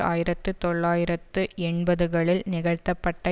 ஆயிரத்து தொள்ளாயிரத்து எண்பதுகளில் நிகழ்த்தப்பட்ட